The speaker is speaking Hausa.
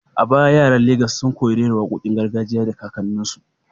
A baya yaran Legas sun koyi rera wakokin gargajiya daga kakanninsu.